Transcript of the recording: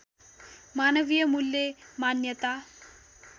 मानवीय मूल्य मान्यता